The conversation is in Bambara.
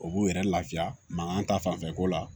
O b'u yɛrɛ lafiya mankan ta fanfɛ ko la